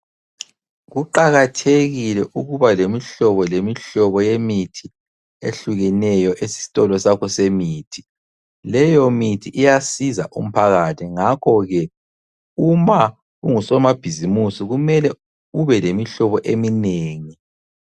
Kuqakathekile ukuba lemihlobo lemihlobo yemithi ehlukeneyo esitolo sakho semithi. Leyo mithi iyasiza umphakathi ngakho ke uma ungusomabhizimisi kumele ube lemihlobo eminengi.